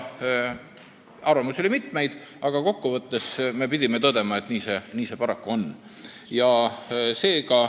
Arvamusi oli mitmeid, aga kokku võttes pidime tõdema, et nii see paraku on.